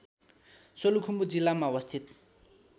सोलुखुम्बु जिल्लामा अवस्थित